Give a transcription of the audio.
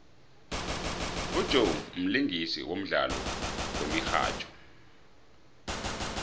ujoe mlingisi womdlalo yemihatjho